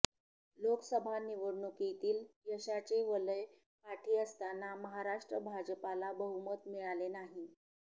लोकसभा निवडणुकीतील यशाचे वलय पाठी असताना महाराष्ट्र भाजपाला बहुमत मिळाले नाही